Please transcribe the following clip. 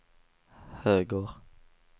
höger